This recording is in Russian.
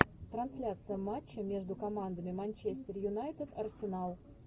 трансляция матча между командами манчестер юнайтед арсенал